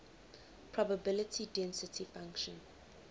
probability density function